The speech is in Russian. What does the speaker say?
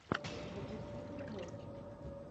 запусти переводчик